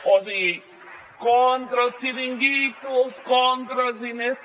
o sigui contra els xiringuitos contra els diners